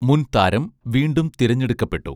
മുൻ താരം വീണ്ടും തിരഞ്ഞെടുക്കപ്പെട്ടു